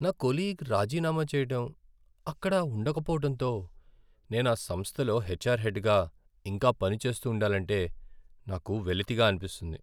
నా కొలీగ్ రాజీనామా చెయ్యటం, అక్కడ ఉండకపోవటంతో, నేను ఆ సంస్థలో హెచ్ఆర్ హెడ్గా ఇంకా పనిచేస్తూ ఉండాలంటే, నాకు వెలితిగా అనిపిస్తుంది.